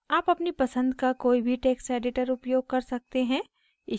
आप अपनी पसंद का कोई भी टेक्स्ट editor उपयोग कर सकते हैं